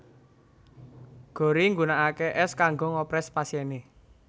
Gorrie nggunakake es kanggo ngopres pasiene